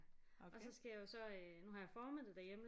Og så skal jeg jo så øh nu har jeg formættet derhjemme